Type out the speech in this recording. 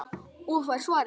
Og fær svarið